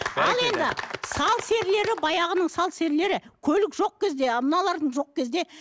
ал енді сал серілері баяғының сал серілері көлік жоқ кезде мыналарың жоқ кезде